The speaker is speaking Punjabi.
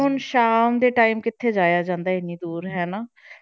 ਸ਼ਾਮ ਦੇ time ਕਿੱਥੇ ਜਾਇਆ ਜਾਂਦਾ ਹੈ ਇੰਨੀ ਦੂਰ ਹੈ ਨਾ